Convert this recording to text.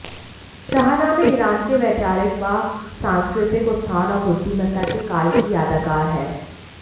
Shahnameh Iran के वैचारिक व सांस्कृतिक उत्थान और बुद्धिमत्ता के काल की यादगार है